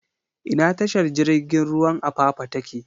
Ina tashar jirigin ruwan Apapa take?